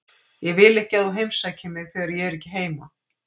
Ég vil ekki að þú heimsækir mig þegar ég er ekki heima.